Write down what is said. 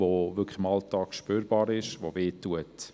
Die Belastung ist im Alltag spürbar und schmerzt.